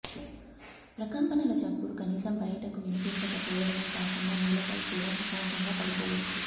ప్రకంపనల చప్పుడు కనీసం బయటకు వినిపించకపోవడమే కాకుండా నేలపై కూడా ప్రశాంతంగా పడుకోవచ్చు